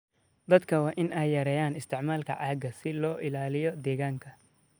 Dadka waa in ay yareeyaan isticmaalka caagga si loo ilaaliyo deegaanka.